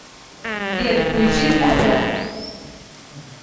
сбер включи звезда